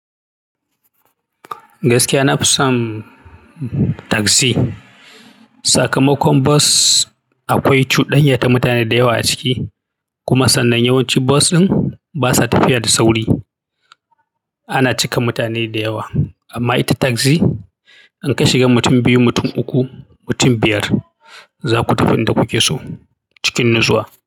Gaskiya na fi son taksi. Sakamakon bas akwai cuɗanyata mutane dayawa a ciki, kuma sannan yawanci bas ɗin basa tafiya da sauri. Ana cika mutane da yawa, amma ita taksi in ka shiga mutum biyu, mutum uku, mutum biyar za ku tafi inda kuke so cikin natsuwa.